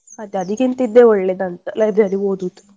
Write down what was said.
ಅದೇ ಅದಿಕ್ಕಿಂತ ಇದೆ ಒಳ್ಳೇದಂತ library ಅಲ್ಲಿ ಓದುದು